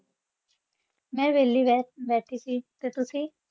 ਮੈਂ ਵਿਹਲੀ ਬਸ ਬੈ ~ ਬੈਠੀ ਸੀ, ਤੇ ਤੁਸੀ?